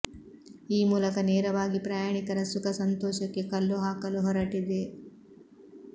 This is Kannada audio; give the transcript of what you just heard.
ಈ ಮೂಲಕ ನೇರವಾಗಿ ಪ್ರಯಾಣಿಕರ ಸುಖ ಸಂತೋಷಕ್ಕೆ ಕಲ್ಲು ಹಾಕಲು ಹೊರಟಿದೆ